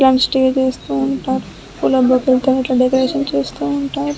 వాళ్ళు స్టే చేస్తున్నారు. పూల బొకేస్ తో డెకరేట్ చేస్తూ ఉంటారు.